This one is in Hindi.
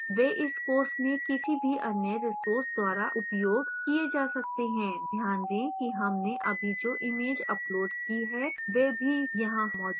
वे इस course में किसी भी any resource द्वारा उपयोग किये जा सकते हैं ध्यान they कि हमने अभी जो image uploaded की है वह भी यहां मौजूद है